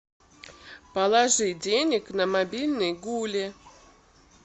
положи денег на мобильный гули